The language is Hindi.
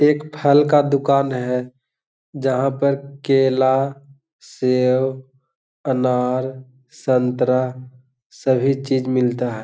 ये एक फल का दुकान है जहाँ पर केला सेब अनार संतरा सभी चीज मिलता है।